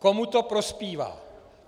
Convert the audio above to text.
Komu to prospívá?